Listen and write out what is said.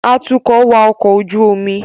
Atukọ̀ wa ọkọ̀ ojú omi